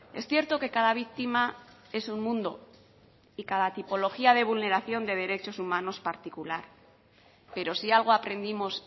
es cierto que cada víctima es un mundo y cada tipología de vulneración de derechos humanos particular pero si algo aprendimos